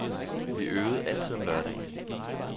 Vi øvede altid om lørdagen.